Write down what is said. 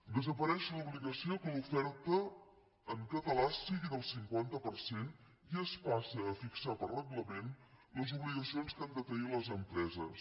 desapareix l’obligació que l’oferta en català sigui del cinquanta per cent i es passa a fixar per reglament les obligacions que han de tenir les empreses